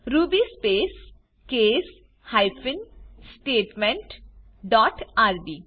Ruby space case hyphen statement dot RB